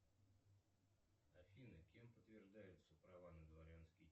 афина кем подтверждаются права на дворянский